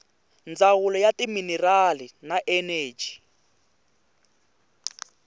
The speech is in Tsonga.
ndzawulo ya timinerali na eneji